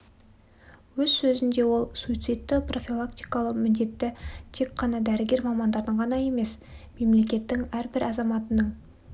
өз сөзінде ол суицидті профилактикалау міндеті тек қана дәрігер мамандардың ғана емес мемлекеттің әрбір азаматының